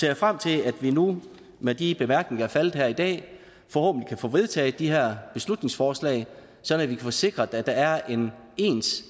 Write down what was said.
jeg frem til at vi nu med de bemærkninger der er faldet her i dag forhåbentlig kan få vedtaget de her beslutningsforslag sådan at vi kan sikre at der er en